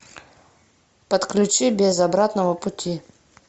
подключи без обратного пути